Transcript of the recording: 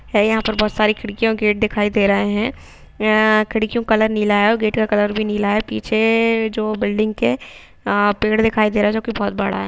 है और यहाँ पे बहुत सारी खिड़कियाँ और गेट दिखाई दे रहे है खिड़कियों का कलर नीला है और गेट का कलर भी नीला है पीछे जो बिल्डिंग के पेड़ दिखाईं दे रहा है जो कि बहुत बड़ा है।